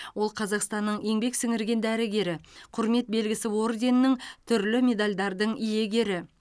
ол қазақстанның еңбек сіңірген дәрігері құрмет белгісі орденінің түрлі медальдардың иегері